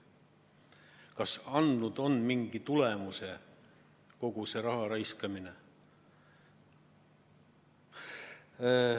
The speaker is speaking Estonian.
Kas kogu see raha raiskamine on andnud on mingi tulemuse?